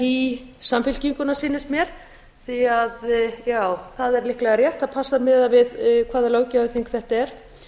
í samfylkinguna sýnist mér því að já það er líklega rétt það passar miðað við hvaða löggjafarþing þetta er